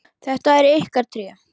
Þetta eru ykkar tré.